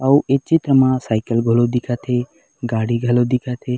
अऊ ए चित्र म साइकल घलो दिखत हे गाड़ी घलो दिखत हे।